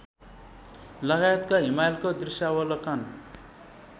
लगायतका हिमालको दृश्यावलोकन